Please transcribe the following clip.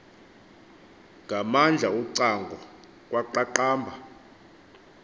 ngamandla ucango kwaqhaqhamba